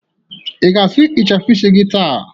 Ị ga-asụ ịchafụ isi taa?